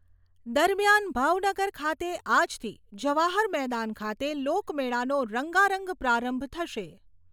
દરમિયાન ભાવનગર ખાતે આજથી જવાહર મેદાન ખાતે લોકમેળાનો રંગારંગ પ્રારંભ થશે.